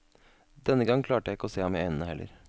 Denne gang klarte jeg ikke å se ham i øynene heller.